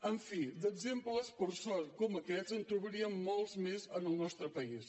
en fi d’exemples per sort com aquests en trobaríem molts més en el nostre país